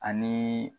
Ani